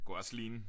Det kunne også ligne